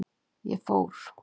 Ég fór.